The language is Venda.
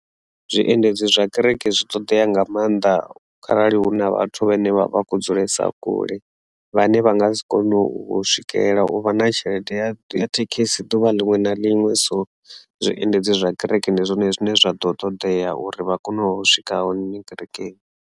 Zwiendedzi zwa kereke zwi ṱoḓea nga maanḓa kharali hu na vhathu vhane vha vha khou dzulesa kule vhane vha nga si kone u swikela uvha na tshelede ya thekhisi ḓuvha liṅwe na liṅwe so zwiendedzi zwa kereke ndi zwone zwine zwa ḓo ṱodea uri vha kone u swika hone kerekeni.